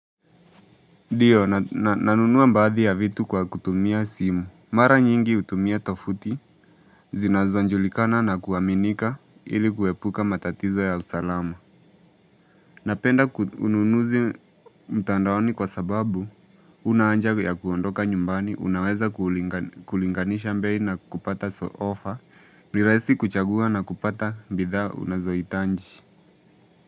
Nio, nanunua baadhi ya vitu kwa kutumia simu. Mara nyingi utumia tofuti. Zinazojulikana na kuaminika ili kuepuka matatizo ya usalama. Napenda ununuzi mtandaoni kwa sababu. Huna aja ya kuondoka nyumbani, unaweza kulinganisha bei na kupata ofa, ni rahisi kuchagua na kupata bidhaa unazohitaji.